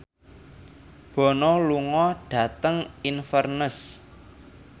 Bono lunga dhateng Inverness